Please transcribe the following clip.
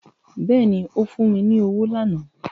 Bẹ́ẹ̀ni ó fún mi ní owó lánàá